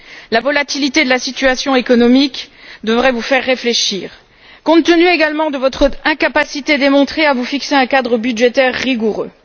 La volatilité de la situation économique devrait vous faire réfléchir, compte tenu également de votre incapacité démontrée à vous fixer un cadre budgétaire rigoureux.